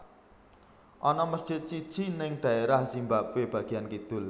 Ana mesjid siji ning daerah Zimbabwe bagian kidul